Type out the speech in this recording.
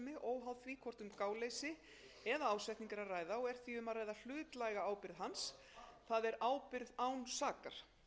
hvort um gáleysi eða ásetning er að ræða og er því um að ræða hlutlæga ábyrgð hans það er ábyrgð án sakar